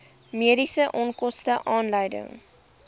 mediese onkoste aanleiding